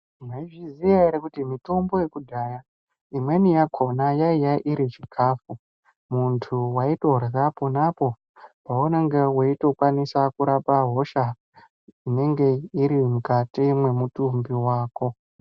Mwaizviziyq ere kuti mitombo yekudhaya imweni yakona yaiya iri chikafu munthu waitorya ponapo paunenge weitokwanisa kurapa hosha inenge iri mukati mwemutumbi wako.